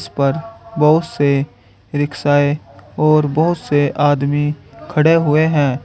इसपर बहुत से रिक्शाएँ और बहुत से आदमी खड़े हुए हैं।